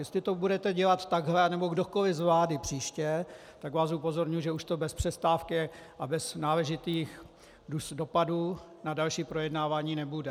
Jestli to budete dělat takhle, nebo kdokoliv z vlády příště, tak vás upozorňuji, že už to bez přestávky a bez náležitých dopadů na další projednávání nebude.